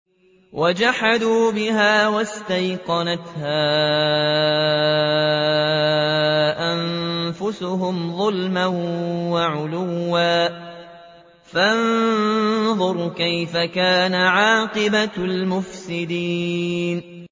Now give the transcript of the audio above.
وَجَحَدُوا بِهَا وَاسْتَيْقَنَتْهَا أَنفُسُهُمْ ظُلْمًا وَعُلُوًّا ۚ فَانظُرْ كَيْفَ كَانَ عَاقِبَةُ الْمُفْسِدِينَ